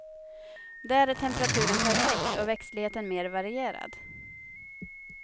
Där är temperaturen perfekt och växtligheten mer varierad.